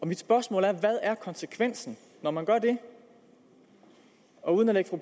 mit spørgsmål er hvad er konsekvensen når man gør det og uden at